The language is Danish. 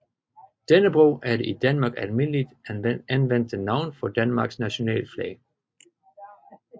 Dannebrog er det i Danmark almindeligt anvendte navn for Danmarks nationalflag